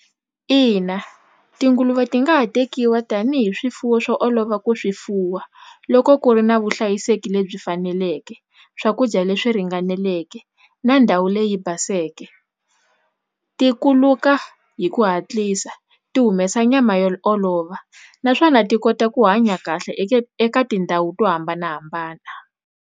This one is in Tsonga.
Ina tinguluve ti nga ha tekiwa tanihi swifuwo swo olova ku swi fuwa loko ku ri na vuhlayiseki lebyi faneleke swakudya leswi ringaneleke na ndhawu leyi yi baseke ti kuluka hi ku hatlisa ti humesa nyama yo olova naswona ti kota ku hanya kahle eka tindhawu to hambanahambana.